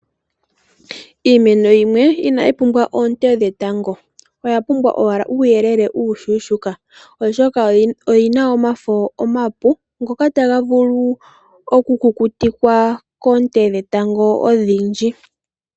Iimeno yimwe inayi pumbwa oonte dhetango, oyapumbwa owala uuyelele uushona oshoka oyina omafo omapu ngoka tagavulu oku kukutikwa koonte dhetango odhindji.